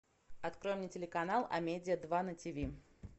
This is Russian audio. открой мне телеканал амедиа два на тв